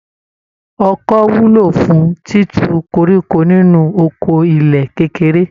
Ọkọ́ wúlò fún títu koríko nínú oko ilẹ̀ kékeré